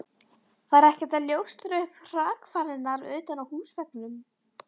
Var ekkert að ljóstra upp um hrakfarirnar utan á húsveggnum.